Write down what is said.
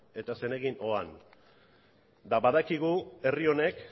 eta zenekin joan eta badakigu herri honek